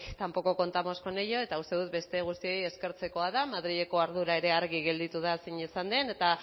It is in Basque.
tampoco contamos con ella eta uste dut beste guztioi eskertzekoa da madrileko ardura ere argi gelditu da zein izan den eta